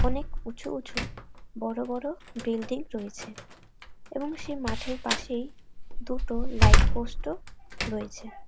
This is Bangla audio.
অনেক উঁচু উঁচু বড়ো বড়ো বিল্ডিং রয়েছে এবং সেই মাঠের পাশেই দুটো লাইট পোস্ট ও রয়েছে।